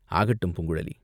"ஆகட்டும் பூங்குழலி!